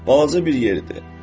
Balaca bir yer idi.